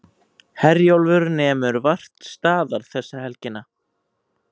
Herjólfur nemur vart staðar þessa helgina